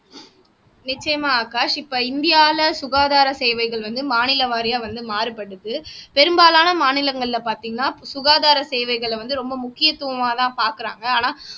நிச்சயமா ஆகாஷ் இப்ப இந்தியால சுகாதாரம் சேவைகள் வந்து மாநில வாரியா வந்து மாறுபடுது பெரும்பாலான மாநிலங்கள்ல பார்த்தீங்கன்னா சுகாதாரம் சேவைகளை வந்து ரொம்ப முக்கியத்துவமாதான் பாக்குறாங்க ஆனா